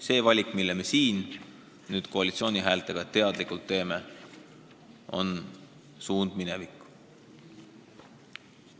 See valik, mille me siin nüüd koalitsiooni häältega teadlikult teeme, on suund minevikku.